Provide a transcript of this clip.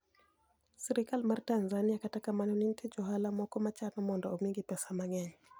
sirkal mar Tanizaniia kata kamano ni e niitie jo ohala moko ma chano monido omigi pesa manig'eniy.